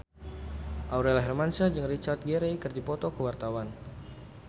Aurel Hermansyah jeung Richard Gere keur dipoto ku wartawan